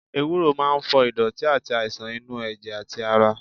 Ewuro máa ń fọ ìdọ̀tí àti àìsàn inú ẹ̀jẹ̀ àti ara.